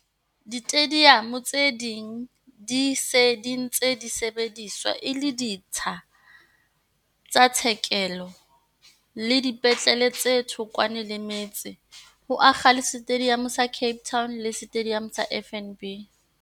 Ditediamo tse ding di se ntse di sebediswa e le ditsha tsa tshekeho le dipetlele tse thokwana le metse, ho akga le Setediamo sa Cape Town le Setediamo sa FNB.